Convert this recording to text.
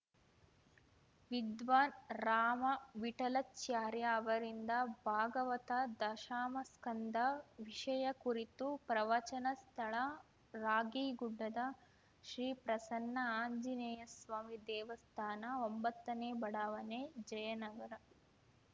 ವಿದ್ವಾನ್‌ ರಾಮ ವಿಠಲಾಚಾರ್ಯ ಅವರಿಂದ ಭಾಗವತದಶಮಸ್ಕಂದ ವಿಷಯ ಕುರಿತು ಪ್ರವಚನ ಸ್ಥಳ ರಾಗೀಗುಡ್ಡದ ಶ್ರೀ ಪ್ರಸನ್ನ ಆಂಜನೇಯಸ್ವಾಮಿ ದೇವಸ್ಥಾನ ಒಂಬತ್ತನೇ ಬಡಾವಣೆ ಜಯನಗರ